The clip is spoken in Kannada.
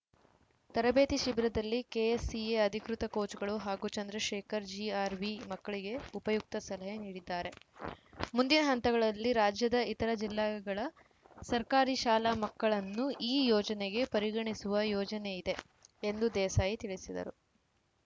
ತರಬೇತಿ ಶಿಬಿರದಲ್ಲಿ ಕೆಎಸ್‌ಸಿಎ ಅಧಿಕೃತ ಕೋಚ್‌ಗಳು ಹಾಗೂ ಚಂದ್ರಶೇಖರ್‌ ಜಿಆರ್‌ವಿ ಮಕ್ಕಳಿಗೆ ಉಪಯುಕ್ತ ಸಲಹೆ ನೀಡಲಿದ್ದಾರೆ ಮುಂದಿನ ಹಂತಗಳಲ್ಲಿ ರಾಜ್ಯದ ಇತರ ಜಿಲ್ಲೆಗಳ ಸರ್ಕಾರಿ ಶಾಲಾ ಮಕ್ಕಳನ್ನು ಈ ಯೋಜನೆಗೆ ಪರಿಗಣಿಸುವ ಯೋಚನೆಯಿದೆ ಎಂದು ದೇಸಾಯಿ ತಿಳಿಸಿದರು